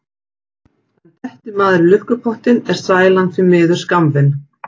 En detti maður í lukkupottinn er sælan því miður skammvinn.